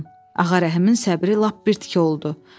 Ağa Rəhimin səbri lap birtiki oldu.